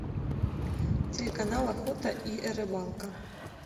телеканал охота и рыбалка